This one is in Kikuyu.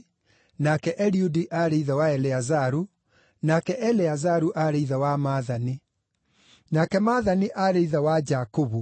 nake Eliudi aarĩ ithe wa Eleazaru, nake Eleazaru aarĩ ithe wa Maathani, nake Maathani aarĩ ithe wa Jakubu,